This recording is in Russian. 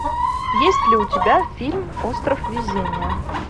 есть ли у тебя фильм остров везения